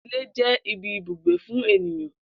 Ilé jé̩ ibi ibùgbé fún ènìyan